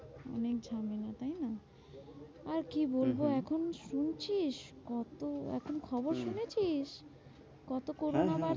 অনেক ঝামেলা তাইনা? আর কি হম হম বলবো এখন? শুনছিস কত এখন খবর হম শুনেছিস? কত corona হ্যাঁ হ্যাঁ বাড়ছে।